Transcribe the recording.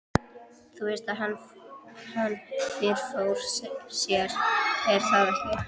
Þú veist að hann. fyrirfór sér, er það ekki?